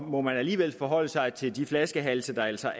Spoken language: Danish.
må man alligevel forholde sig til de flaskehalse der altså